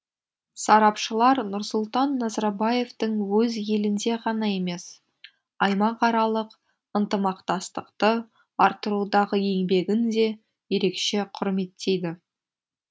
сарапшылар нұрсұлтан назарбаевтың өз елінде ғана емес аймақаралық ынтымақтастықты арттырудағы еңбегін де ерекше құрметтейді